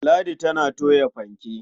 Ladi tana toya fanke.